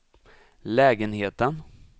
lägenheten